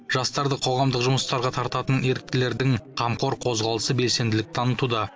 жастарды қоғамдық жұмыстарға тартатын еріктілердің қамқор қозғалысы белсенділік танытуда